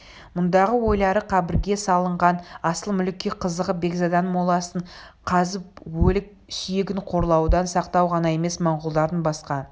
мұндағы ойлары қабірге салынған асыл мүлікке қызығып бекзаданың моласын қазып өлік сүйегін қорлаудан сақтау ғана емес монғолдардың басқа